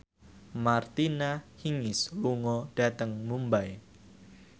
Martina Hingis lunga dhateng Mumbai